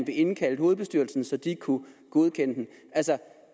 indkalde hovedbestyrelsen så de kunne godkende den